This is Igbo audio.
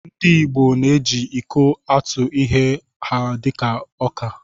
Ndị igbo na-eji iko atụ ihe ha dị ka ọka